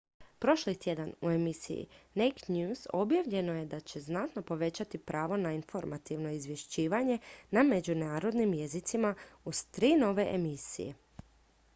prošli tjedan u emisiji naked news objavljeno je da će znatno povećati pravo na informativno izvješćivanje na međunarodnim jezicima uz tri nove emisije